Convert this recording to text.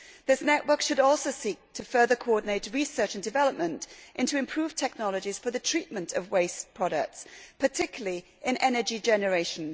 The network should also seek to further coordinate research and development into improved technologies for the treatment of waste products, particularly in energy generation.